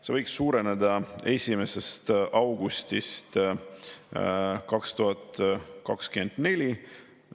See võiks suureneda 1. augustist 2024.